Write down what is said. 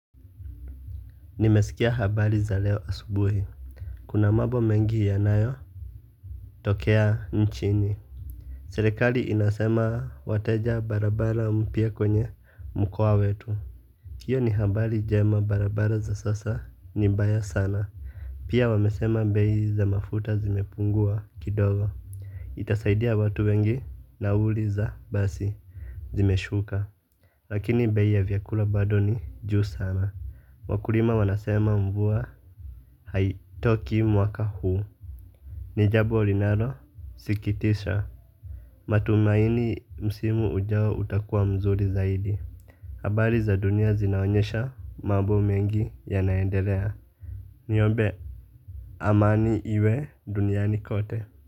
Nimesikia habari za leo asubuhi. Kuna mambo mengi yanayo tokea nchini. Serikali inasema wateja barabara mpya kwenye mkoa wetu. Hiyo ni habari jema barabara za sasa ni mbaya sana. Pia wamesema bei za mafuta zimepungua kidogo. Itasaidia watu wengi nauli za basi Zimeshuka. Lakini bei ya vyakula bado ni juu sana. Wakulima wanasema mvua haitoki mwaka huu. Ni jambo linalo sikitisha. Matumaini msimu ujao utakua mzuri zaidi. Habari za dunia zinaonyesha mambo mengi yanaendelea. Niombe amani iwe duniani kote.